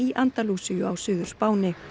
Andalúsíu á Suður Spáni